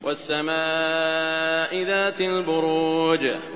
وَالسَّمَاءِ ذَاتِ الْبُرُوجِ